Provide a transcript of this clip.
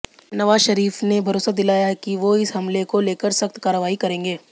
नवाज शरीफ ने भरोसा दिलाया है कि वो इस हमले को लेकर सख्त कार्रवाई करेंगे